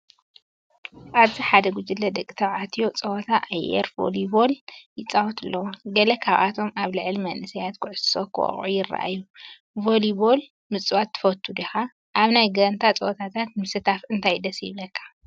ኣብዚ ሓደ ጉጅለ ደቂ ተባዕትዮ ጸወታ ኣየር ቮሊቦል ይጻወቱ ኣለዉ። ገለ ካብኣቶም ኣብ ልዕሊ መንእሰይ ኩዕሶ ክወቅዑ ይራኣዩ። ቮሊቦል ምጽዋት ትፈቱ ዲኻ? ኣብ ናይ ጋንታ ጸወታታት ምስታፍ እንታይ ደስ ይብለካ?